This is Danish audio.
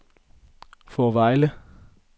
Fårevejle